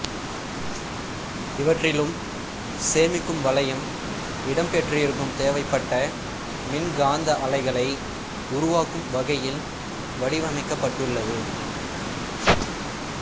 இவற்றிலும் சேமிக்கும் வளையம் இடம் பெற்றிருக்கும் தேவைப்பட்ட மின்காந்த அலைகளை உருவாக்கும் வகையில் வடிவமைக்கப்பட்டுள்ளது